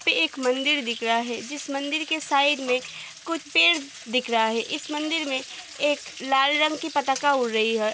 की एक मंदिर दिख रहा है जिस मंदिर के साइड में कुछ पेड़ दिख रहा है इस मंदिर में एक लाल रंग की पताका उड़ रही है।